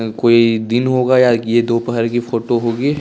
कोइ दिन होगा या ये दोपहर की फोटो होगी।